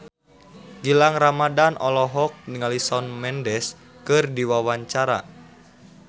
Gilang Ramadan olohok ningali Shawn Mendes keur diwawancara